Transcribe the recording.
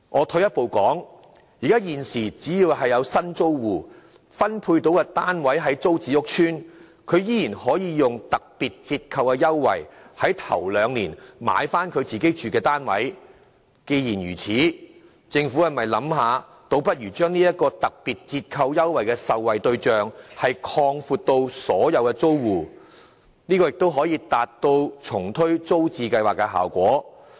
退一步說，現時只要有新租戶獲分配的單位位於租置計劃屋邨內，他們依然可以利用特別折扣的優惠，在首兩年購回自己居住的單位。既然如此，政府倒不如考慮把這項特別折扣優惠的受惠對象擴闊至所有租戶，這亦可達致重推租置計劃的效果。